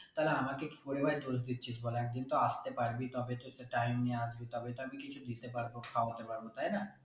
তালে আমাকে কি করে ভাই দোষ দিচ্ছিস বল একদিন তো আসতে পারবি তবে তো সে time নিয়ে আসবি তবে তো আমি কিছু দিতে পারবো খাওয়াতে পারবো তাই না